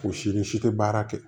Fosi ni si tɛ baara kɛ